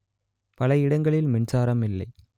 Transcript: பல இடங்களில் மின்சாரம் இல்லை